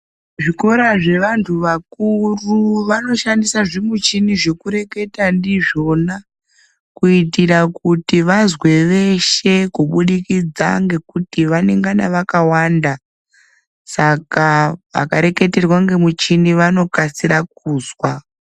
Zvikora zvevantu vakuru vanoshanda zvimuchini zvekureketa ndizvona kuitira kuti vazwe veshe kubudikidza ngekuti vanengana vakawanda saka vakareketerwa ngemuchini vanokasira kuzwa.